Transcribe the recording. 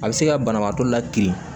A bɛ se ka banabaatɔ la kirin